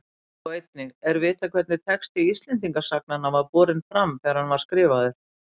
Sjá einnig Er vitað hvernig texti Íslendingasagnanna var borinn fram þegar hann var skrifaður?